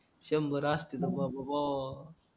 शंभर असती तर बाबा बाबा